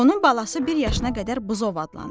Onun balası bir yaşına qədər buzov adlanır.